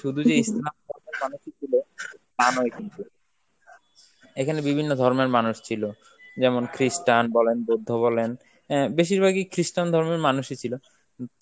শুধু যে ইসলাম ধর্মের মানুষই গুলো তা নয় কিন্তু, এখানে বিভিন্ন ধর্মের মানুষ ছিল, যেমন christian বলেন, বৌদ্ধ বলেন অ্যাঁ বেশির ভাগই Christian ধর্মের মানুষই ছিল,